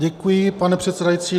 Děkuji, pane předsedající.